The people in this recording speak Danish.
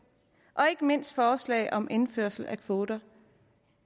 og ikke mindst forslaget om indførelse af kvoter